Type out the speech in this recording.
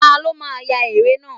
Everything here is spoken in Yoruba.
Ta ló máa ya eré náà?